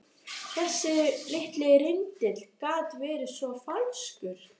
Þessi litli rindill gat verið svo falskur.